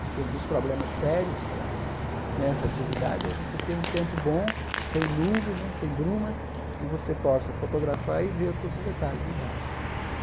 Porque um dos problemas sérios para nessa atividade é você ter um tempo bom, sem nuvem, sem bruma, que você possa fotografar e ver todos os detalhes embaixo.